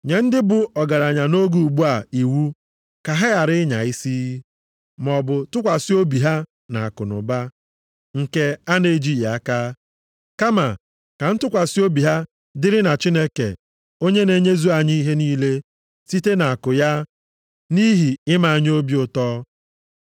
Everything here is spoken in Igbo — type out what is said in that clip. Nye ndị bụ ọgaranya nʼoge ugbu a iwu ka ha ghara ịnya isi, maọbụ tụkwasị obi ha nʼakụnụba, nke a na-ejighị aka. Kama ka ntụkwasị obi ha dịrị na Chineke onye na-enyezu anyị ihe niile site nʼakụ ya nʼihi ime anyị obi ụtọ.